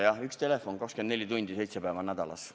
Jah, üks telefon, 24 tundi, seitse päeva nädalas.